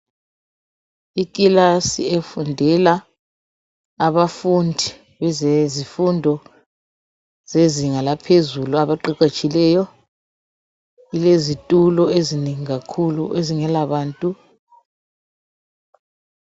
Ikilasi efundela abafundi bezifundo zezinga laphezulu abaqeqetshileyo kulezitulo ezinengi kakhulu ezingela bantu.